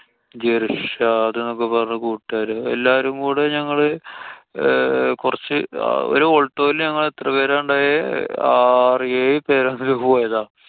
ജിര്‍ഷാദ് ന്നൊക്കെ പറഞ്ഞ കൂട്ടുകാര്. എല്ലാരും കൂടെ ഞങ്ങള് അഹ് കൊറച്ച് ഒരു aulto ല് ഞങ്ങള് എത്ര പേരാ ഉണ്ടായേ. ആറു ഏഴു പേരാ പോയത്.